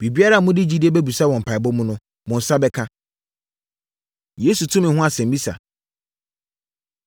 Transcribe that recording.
Biribiara a mode gyidie bɛbisa wɔ mpaeɛbɔ mu no, mo nsa bɛka.” Yesu Tumi Ho Asɛmmisa